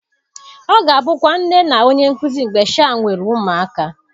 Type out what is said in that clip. Ọ ga-abụkwa nne na onye nkuzi mgbe sha nwere ụmụaka